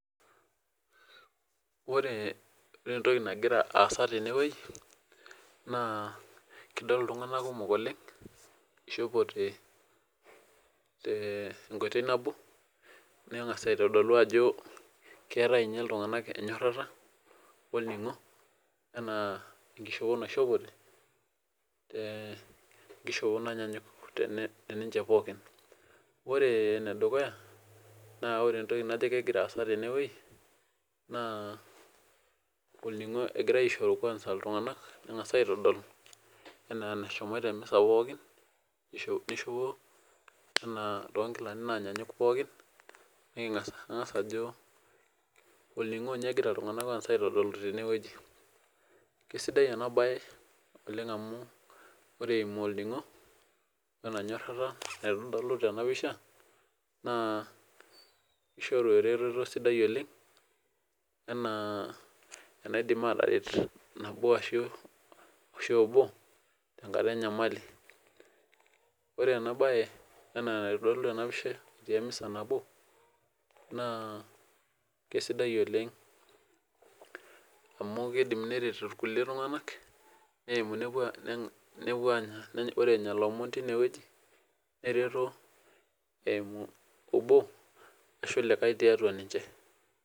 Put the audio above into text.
Ore entoki nagira aasa tene ba kidol ltunganak otoni tene na ishopote tonkilani nabo nengasa aitodolu ajo keeta ltunganak enyorata anaa enkishopo naishopote ee enkishopo nanyanyuk pookin ore enedukuya na kajo ore entoki nagira aasa tenewueji na olningo egira aishooyo ltunganak enaa enashomoita pookin anaa tonkilani nanyanyuk pookinanagasa adol entoki nagira aendelea tenewueji kesidai enabae amu ore eimu orningo enyorata naitodoku tenapisha na kitadolu eretoto sapuk oleng anaa enegira enkata enyamali ore enabae na enitodolu enapisha nabo na kesidai oleng amu kidil neret irkulikae tunganak nepuo anya lomon tinewueji neretu eimu obo ashu likae tiatua ninche.